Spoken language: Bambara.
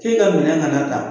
K'e ka minɛn kana ta